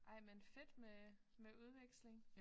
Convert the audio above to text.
Ej men fedt med med udveksling